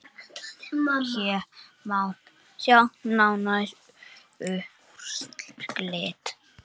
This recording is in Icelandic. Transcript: Hér má sjá nánari úrslit.